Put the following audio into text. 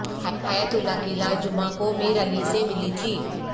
حیات اللہ کی لاش جمعہ کو میر علی سے ملی تھی